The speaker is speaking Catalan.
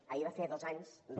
ahir va fer dos anys de